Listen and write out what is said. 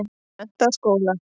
Menntaskóla